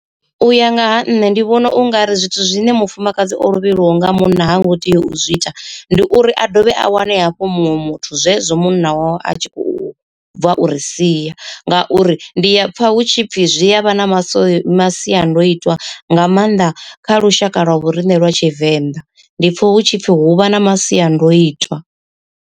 U ya nga ha nṋe ndi vhona ungari zwithu zwine mufumakadzi o lovhelwaho nga munna ha ngo tea u zwi ita. Ndi uri a dovhe a wane hafhu muṅwe muthu zwezwo munna wawe a tshi khou bva u ri siya, ngauri ndi a pfa hutshipfi zwi a vha na masiandoitwa nga maanḓa kha lushaka lwa vho riṋe lwa tshivenḓa ndi pfa hutshipfi hu vha na masiandoitwa.